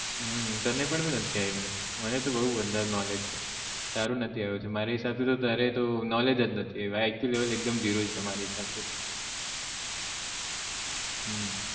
હમ તને પણ બી નથી આવી ભાઈ મને તો બઉ બધું knowledge છે તારું નથી આવ્યું મારા હિસાબ તો તારે તો knowledge જ નથી iq level એકદમ zero છે મારે હિસાબ થી તો હમ